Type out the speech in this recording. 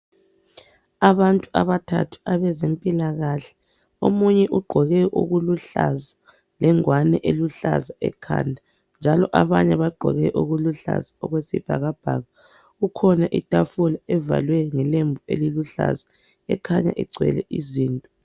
Abantu abathathu abezempilakahle omunye ugqoke okuluhlaza lengwane eluhlaza ekhanda njalo abanye bagqoke okuluhlaza okwesibhakabhaka, kukhona itafula evalwe ngelembu eliluhlaza ekhanya igcwele izinto.